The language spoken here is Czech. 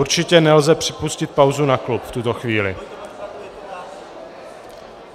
Určitě nelze připustit pauzu na klub v tuto chvíli.